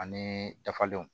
Ani dafalenw